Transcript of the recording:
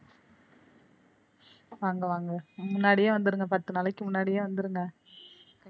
வாங்க வாங்க முன்னாடியே வந்துருங்க பத்து நாளைக்கு முன்னாடியே வந்துருங்க.